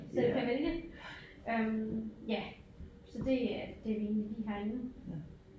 Så du kan vælge øh ja så det øh det vi egentlig lige har inde